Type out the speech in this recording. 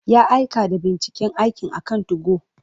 Ya aika da binciken aikin akan 2go.